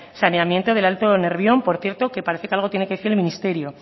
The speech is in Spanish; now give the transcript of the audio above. saneamiento del alto nervión por cierto que parece que algo tiene que decir el ministerio